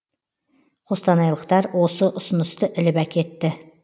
қостанайлықтар осы ұсынысты іліп әкетті